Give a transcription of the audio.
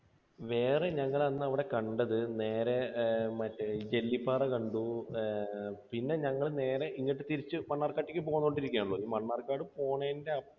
വേറെ ഞങ്ങൾ അന്ന് അവിടെ കണ്ടത് നേരെ മറ്റേ ജെല്ലിപ്പാറ കണ്ടു. ഏർ പിന്നെ ഞങ്ങൾ നേരെ തിരിച്ച് ഇങ്ങോട്ട് മണ്ണാർക്കാട്ടേക്ക് പോന്നുകൊണ്ടിരിക്കുകയാണല്ലോ. ഈ മണ്ണാർക്കാട് പോണേന്റെ